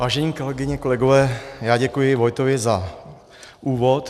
Vážené kolegyně, kolegové, já děkuji Vojtovi za úvod.